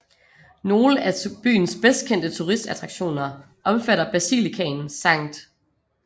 Nogle af byens bedst kendte turistattraktioner omfatter basilikaen St